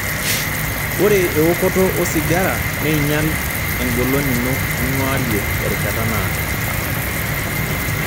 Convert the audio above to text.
Ore eokoto osigara neinyal engolon ino ninguarie terishata naado.